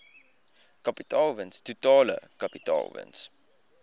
kapitaalwins totale kapitaalwins